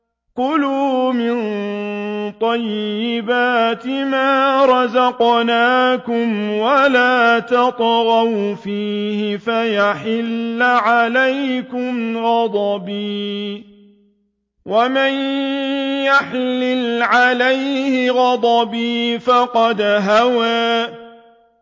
كُلُوا مِن طَيِّبَاتِ مَا رَزَقْنَاكُمْ وَلَا تَطْغَوْا فِيهِ فَيَحِلَّ عَلَيْكُمْ غَضَبِي ۖ وَمَن يَحْلِلْ عَلَيْهِ غَضَبِي فَقَدْ هَوَىٰ